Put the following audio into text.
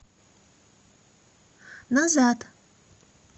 назад